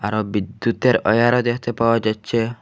আরো বিদ্যুতের ওয়ারও দেখতে পাওয়া যাচ্ছে।